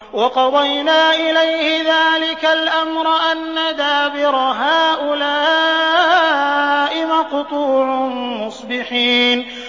وَقَضَيْنَا إِلَيْهِ ذَٰلِكَ الْأَمْرَ أَنَّ دَابِرَ هَٰؤُلَاءِ مَقْطُوعٌ مُّصْبِحِينَ